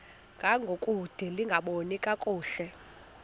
ngangokude lingaboni kakuhle